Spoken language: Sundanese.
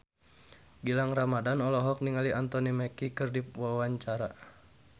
Gilang Ramadan olohok ningali Anthony Mackie keur diwawancara